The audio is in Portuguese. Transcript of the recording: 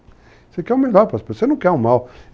Você quer o melhor para as pessoas, você não quer o mal.